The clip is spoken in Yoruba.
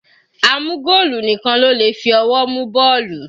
A mú goolu nìkan ló le fi ọwọ́ mu bọ́ọ̀lù.